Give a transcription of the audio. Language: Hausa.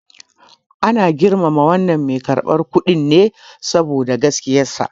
Ana girmama wannan mai karɓar kuɗin ne saboda gaskiyarsa.